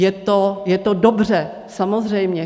Je to dobře, samozřejmě.